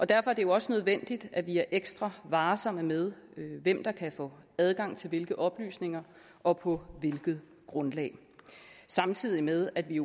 derfor er det også nødvendigt at vi er ekstra varsomme med hvem der kan få adgang til hvilke oplysninger og på hvilket grundlag samtidig med at vi